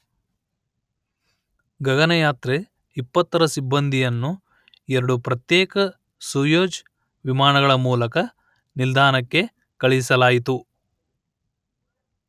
ಗಗನಯಾತ್ರೆ ಇಪ್ಪತ್ತರ ಸಿಬ್ಬಂದಿಯನ್ನು ಎರಡು ಪ್ರತ್ಯೇಕ ಸೊಯೆಜ್ ವಿಮಾನಗಳ ಮೂಲಕ ನಿಲ್ದಾಣಕ್ಕೆ ಕಳುಹಿಸಲಾಯಿತು